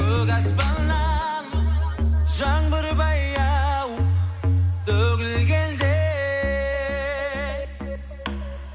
көк аспаннан жаңбыр баяу төгілгенде